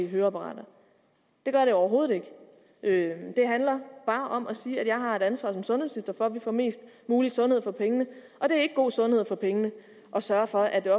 høreapparater overhovedet ikke ikke det handler bare om at sige at jeg har et ansvar for at vi får mest mulig sundhed for pengene og det er ikke god sundhed for pengene at sørge for at det